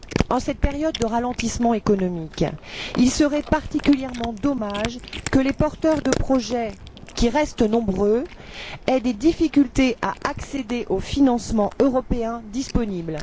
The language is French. En cette période de ralentissement économique, il serait particulièrement dommage que les porteurs de projets, qui restent nombreux, aient des difficultés à accéder au financement européen disponible.